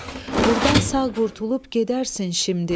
Burdan sağ qurtulub gedərsən şimdi.